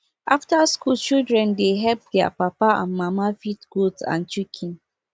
after school children dey help their papa and mama feed goat and chicken